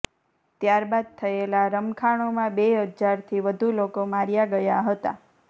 ત્યારબાદ થયેલા રમખાણોમાં બે હજારથી વધુ લોકો માર્યા ગયા હતા